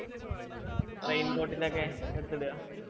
raincoat ന് ഒക്കെ എടുത്ത് ഇട